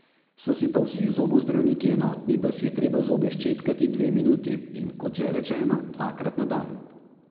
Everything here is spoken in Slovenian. So si pa vsi zobozdravniki enotni, da si je treba zobe ščetkati dve minuti in, kot že rečeno, dvakrat na dan.